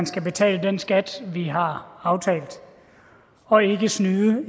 skal betale den skat som vi har aftalt og ikke snyde